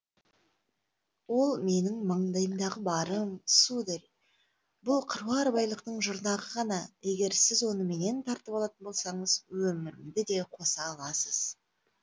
ол менің маңдайымдағы барым сударь бұл қыруар байлықтың жұрнағы ғана егер сіз оны менен тартып алатын болсаңыз өмірімді де қоса аласыз